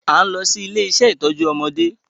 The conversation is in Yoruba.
A n lọ si ile-iṣẹ itọju ọmọdé